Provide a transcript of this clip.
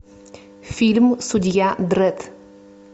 фильм судья дредд